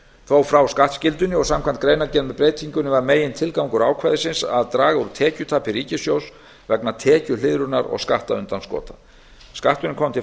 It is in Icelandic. þó frá skattskyldunni og samkvæmt greinargerð með breytingunni var megintilgangur ákvæðisins að draga úr tekjutapi ríkissjóðs vegna tekjuhliðrunar og skattundanskota skatturinn kom til